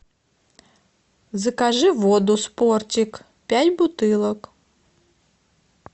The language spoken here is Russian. закажи воду спортик пять бутылок